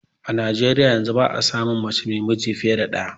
A Nijeriyar yanzu ba a samun mace mai miji fiye da ɗaya